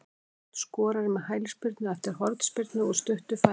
Matthías Örn skorar með hælspyrnu eftir hornspyrnu úr stuttu færi.